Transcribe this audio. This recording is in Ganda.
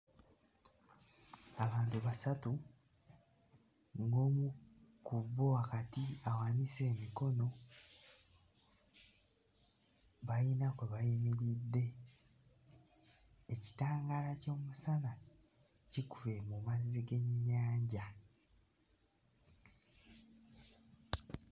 Abantu basatu ng'omu ku bo wakati awanise emikono bayina kwe bayimiridde ekitangaala ky'omusana kikubye mu mazzi g'ennyanja.